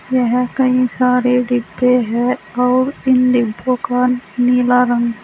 यहां कई सारे डिब्बे हैं और इन डिब्बो का नीला रंग--